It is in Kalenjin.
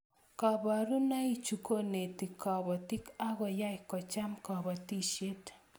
Koborunoichu konetu kobotik akoyai kocham kobotisiet